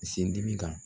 Sen dimi kan